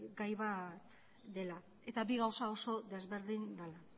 gai bat dela eta bi gauza oso desberdin dela